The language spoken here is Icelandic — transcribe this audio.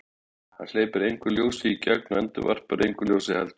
Hann hleypir engu ljósi í gegn og endurvarpar engu ljósi heldur.